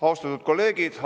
Austatud kolleegid!